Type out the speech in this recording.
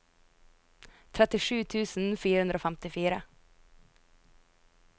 trettisju tusen fire hundre og femtifire